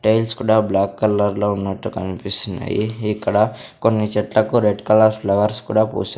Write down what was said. tiles కూడా black కలర్లో ఉన్నట్టు కన్పిస్తున్నాయి ఇక్కడ కొన్ని చెట్లకు రెడ్ కలర్ ఫ్లవర్స్ కూడా పూసా--